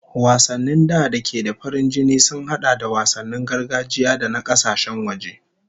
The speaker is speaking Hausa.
Wasanni da da ke da farin jini sun hada da wasannin gargajiya da na kasashen waje